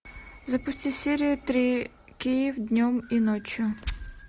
запусти серию три киев днем и ночью